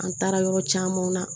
An taara yɔrɔ camanw na